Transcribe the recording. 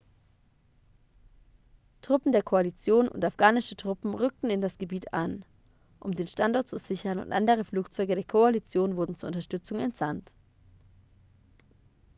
truppen der koalition und afghanische truppen rückten in das gebiet ein um den standort zu sichern und andere flugzeuge der koalition wurden zur unterstützung entsandt